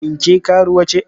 Shin ke karuwa ce?